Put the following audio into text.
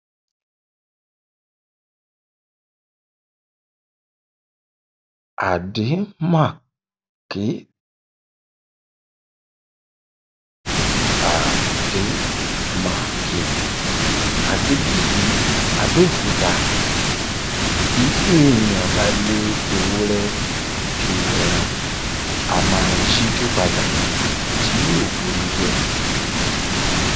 àdèmà-kè àdèmàkè adébíyí àbẹòkúta bí èèyàn bá lé ewúrẹ ju ẹran á máa yíjú padà tí yóò bù ni jẹ